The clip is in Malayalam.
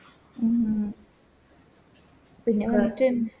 ഉം ഉം പിന്നെ